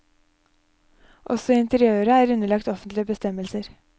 Også interiøret er underlagt offentlige bestemmelser.